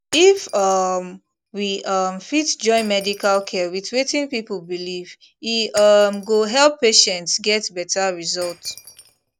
if um we um fit join medical care with wetin people believe e um go help patients get better result